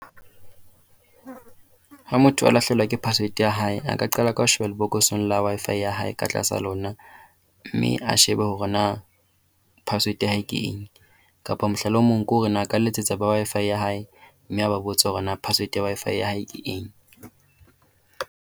Ha motho a lahlehelwa ke password ya hae, a ka qala ka ho sheba lebokoseng la Wi-Fi ya hae ka tlasa lona. Mme a shebe hore na password ya hae ke eng kapa mohlala o mong ke hore na a ka letsetsa ba Wi-Fi ya hae, mme a ba botsa hore na password ya Wi-Fi ya hae ke eng.